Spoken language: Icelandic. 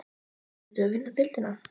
Ættum við að vinna deildina?